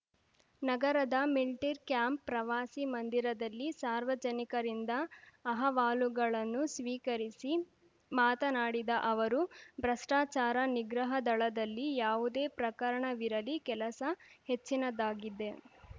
ನಗರದ ಮಿಂಟಿರ್ ಕ್ಯಾಂಪ್‌ ಪ್ರವಾಸಿ ಮಂದಿರದಲ್ಲಿ ಸಾರ್ವಜನಿಕರಿಂದ ಅಹವಾಲುಗಳನ್ನು ಸ್ವೀಕರಿಸಿ ಮಾತನಾಡಿದ ಅವರು ಭ್ರಷ್ಟಾಚಾರ ನಿಗ್ರಹ ದಳದಲ್ಲಿ ಯಾವುದೇ ಪ್ರಕರಣವಿರಲಿ ಕೆಲಸ ಹೆಚ್ಚಿನದ್ದಾಗಿದೆ